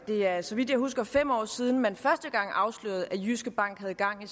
det er så vidt jeg husker fem år siden at man første gang afslørede at jyske bank havde gang i